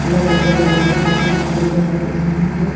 अलग अलग कलर का केमिकल भरा दिख रहा है।